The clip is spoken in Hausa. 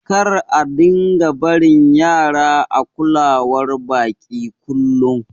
Kar a dinga barin Yara a kulawar baƙi ƙullum.